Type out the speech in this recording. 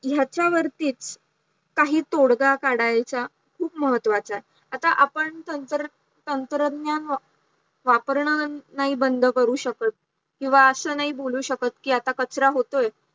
याच्यावरतीच काही तोडगा काढायचा खूप महत्वाचा आहे, आता आपण तंत्रज्ञान वापरणं नाही बंद करू शकत किंवा असं नाही बोलू शकत कि आता कचरा होतोय